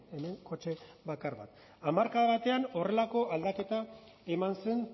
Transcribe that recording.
hemen kotxe bakar bat hamarkada batean horrelako aldaketa eman zen